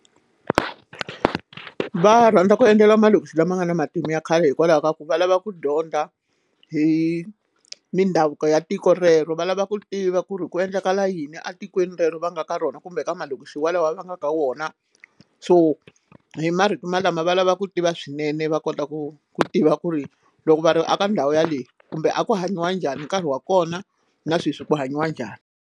Va rhandza ku endlela malokixi lama nga na matimu ya khale hikwalaho ka ku va lava ku dyondza hi mindhavuko ya tiko rero va lava ku tiva ku ri ku endlekala yini etikweni rero va nga ka rona kumbe ka malokixi walawa va nga ka wona so hi marito malamo va lava ku tiva swinene va kota ku ku tiva ku ri loko va ri a ka ndhawu yaleyo kumbe a ku hanyiwa njhani nkarhi wa kona na sweswi ku hanyiwa njhani.